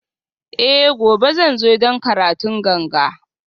Eh gobe zan zo don karatun ganga